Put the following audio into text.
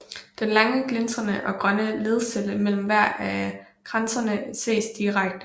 Den lange glinsende og grønne ledcelle mellem hver af kransene ses direkte